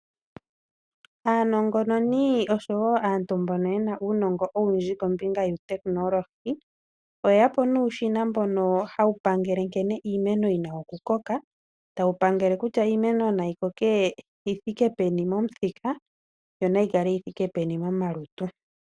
Aanongononi osho wo aantu mbono ye na uunongo owundji kombinga yehumokomeho, oye ya po nuushina mboka hawu pangele iimeno nkene yi na okukoka. Tawu pangele kutya iimeno nayi koke yithiike peni momuthika, yo nayi kale yi thike peni momalutu.